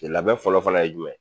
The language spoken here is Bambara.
Cɛ labɛn fɔlɔ-fɔlɔ ye jumɛn?